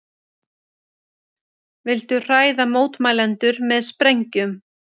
Vildu hræða mótmælendur með sprengjum